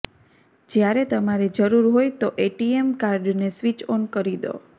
જ્યારે તમારે જરૂર હોય તો એટીએમ કાર્ડને સ્વિચ ઑન કરી દો